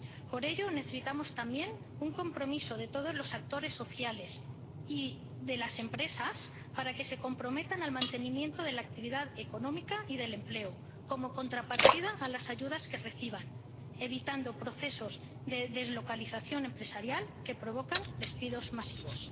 Por ello, necesitamos también un compromiso de todos los actores sociales y de las empresas para que se comprometan al mantenimiento de la actividad económica y del empleo como contrapartida a las ayudas que reciban, evitando procesos de deslocalización empresarial que provocan despidos masivos.